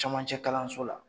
Cɛmancɛ kalanlanso la